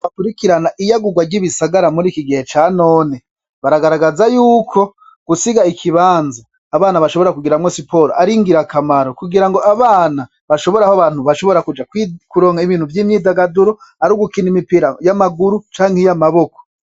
Abantu bakurikirana iyagurwa ry'ibisagara muriki gihe ca none baragaragaza yuko gusiga ikibanza abana bashobora kugiriramwo siporo ari ingirakamaro kugirango abana bashobore kuja kuronka ibintu vyi myidagaduro ari gukina imipira y'amaguru canke y'amaboko.